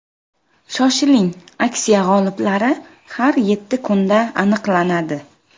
Shoshiling, aksiya g‘oliblari har yetti kunda aniqlanadi!